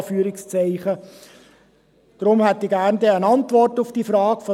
– Deshalb hätte ich von der Finanzdirektorin gerne eine Antwort auf diese Fragen.